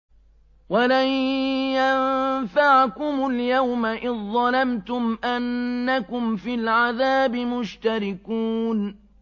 وَلَن يَنفَعَكُمُ الْيَوْمَ إِذ ظَّلَمْتُمْ أَنَّكُمْ فِي الْعَذَابِ مُشْتَرِكُونَ